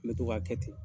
N bɛ to k'a kɛ ten